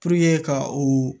ka o